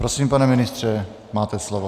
Prosím, pane ministře, máte slovo.